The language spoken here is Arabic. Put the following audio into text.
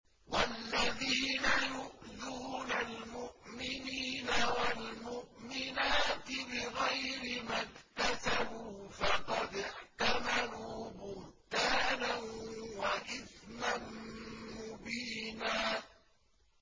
وَالَّذِينَ يُؤْذُونَ الْمُؤْمِنِينَ وَالْمُؤْمِنَاتِ بِغَيْرِ مَا اكْتَسَبُوا فَقَدِ احْتَمَلُوا بُهْتَانًا وَإِثْمًا مُّبِينًا